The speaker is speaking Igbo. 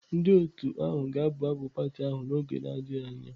Ndị otu ahụ ga-abụ abụ pati ahụ n'oge adịghị anya.